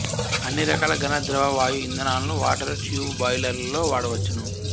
అన్నిరకాల ఘన ద్రవ వాయు ఇంధనాలను వాటరు ట్యూబు బాయిలర్లలో వాడవచ్చును